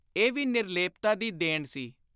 ਇਹ ਵੀ ਨਿਰਲੇਪਤਾ ਦੀ ਦੇਣ ਸੀ।